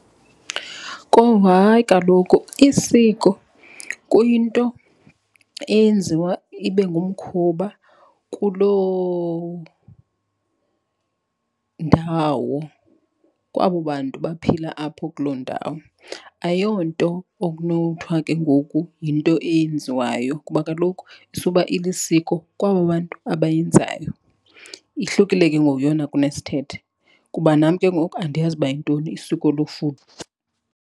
Kowu, hayi kaloku isiko kuyinto eyenziwa ibe ngumkhuba kuloo ndawo, kwabo bantu baphila apho kuloo ndawo. Ayonto okunothwa ke ngoku yinto eyenziwayo kuba kaloku isuba ilisiko kwaba bantu abayenzayo. Ihlukile ke ngoku yona kunesithethe kuba nam ke ngoku andiyazi uba yintoni isiko lofudo.